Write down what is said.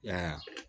Ya